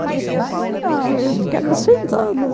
Não, eu ficava sentada.